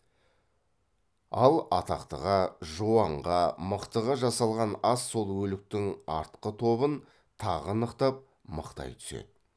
ал атақтыға жуанға мықтыға жасалған ас сол өліктің артқы тобын тағы нықтап мықтай түседі